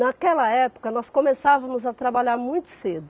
Naquela época, nós começávamos a trabalhar muito cedo.